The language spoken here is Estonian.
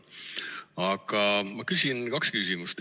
Aga ma küsin kaks küsimust.